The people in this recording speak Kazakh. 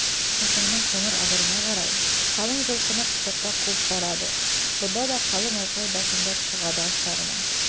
шолпанның қоңыр адырына қарай қалың жылқыны құтырта қуып барады бұнда да қалың айқай басымдап шығады астарына